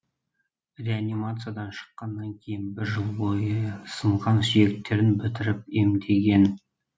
реанимациядан шыққанннан кейін бір жыл бойы сынған сүйектерін бітіріп емдеген